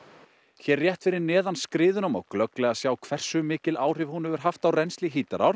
hér rétt fyrir neðan skriðuna má glögglega sjá hversu mikil áhrif hún hefur haft á rennsli Hítarár